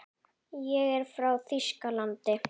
Ég er frá Þýskalandi.